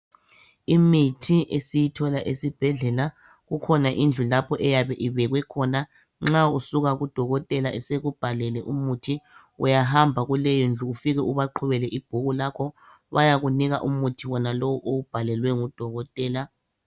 Imithi esiyithola esibhedlela kukhona indlu lapho eyabe ibekwe khona nxa usuka kudokotela esekubhalele umuthi uyahamba kuleyondlu ufike ubaqhubele ibhuku lakho bayakunika umuthi wonalowo owubhalelwe ngudokotela.